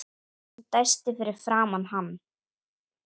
Hún dæsti fyrir framan hann.